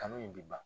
Kanu in bi ban